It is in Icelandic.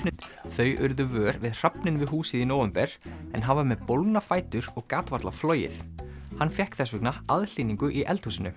þau urðu vör við hrafninn við húsið í nóvember en hann var með bólgna fætur og gat varla flogið hann fékk þess vegna aðhlynningu í eldhúsinu